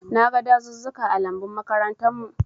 Na gan dazuzzuka ã lambun makarantan mu.